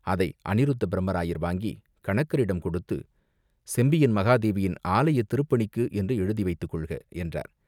அதை அநிருத்தப் பிரம்மராயர் வாங்கிக் கணக்கரிடம் கொடுத்து, "செம்பியன் மகாதேவியின் ஆலயத் திருப்பணிக்கு என்று எழுதி வைத்துக் கொள்க!" என்றார்.